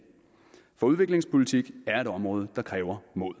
for udviklingspolitik er et område der kræver mod